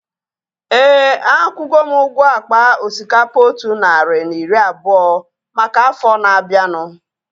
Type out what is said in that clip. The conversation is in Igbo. Éè, akwugo m ụgwọ akpa osikapa otu narị na iri abụọ maka afọ na-abianu